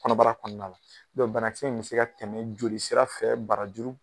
Kɔnɔbara kɔnɔna don banakisɛ in bɛ se ka tɛmɛ joli sira fɛ barajuru.